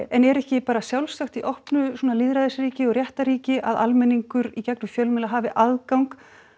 en er ekki bara sjálfsagt í opnu lýðræðisríki og réttarríki að almenningur í gegnum fjölmiðla hafi aðgang